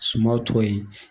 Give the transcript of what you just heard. Sumaworo